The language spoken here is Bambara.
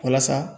Walasa